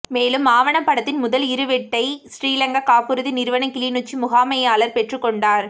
மேலும் ஆவணப்படத்தின் முதல் இறுவெட்டை சிறிலங்கா காப்புறுதி நிறுவன கிளிநொச்சி முகாமையாளா் பெற்றுகொண்டாா்